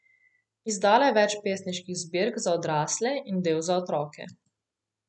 Izdala je več pesniških zbirk za odrasle in del za otroke.